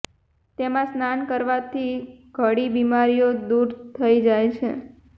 તેમાં સ્નાન કરવાથી ધળી બીમારીઓ દૂર થઈ જાય છે